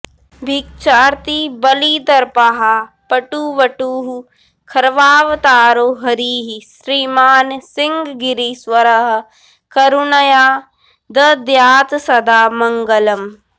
भिक्षार्थी बलिदर्पहा पटुवटुः खर्वावतारो हरिः श्रीमान् सिंहगिरीश्वरः करुणया दद्यात्सदा मङ्गलम्